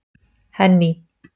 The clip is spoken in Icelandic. Henný